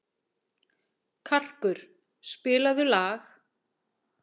Karkur, spilaðu lag.